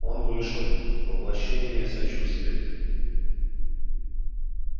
он вышел воплощение сочувствия